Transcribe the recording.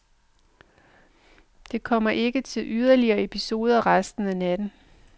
Det kom ikke til yderligere episoder resten af natten.